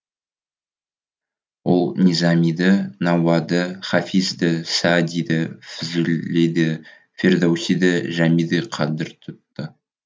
ол низамиді науаиді хафизді саадиді фзулиді фирдоусиді жәмиді қадір тұтты